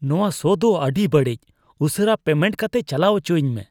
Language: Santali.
ᱱᱚᱶᱟ ᱥᱚ ᱫᱚ ᱟᱹᱰᱤ ᱵᱟᱹᱲᱤᱡ ᱾ ᱩᱥᱟᱹᱨᱟ ᱯᱮᱢᱮᱱᱴ ᱠᱟᱛᱮᱫ ᱪᱟᱞᱟᱣ ᱚᱪᱚᱣᱟᱹᱧ ᱢᱮ ᱾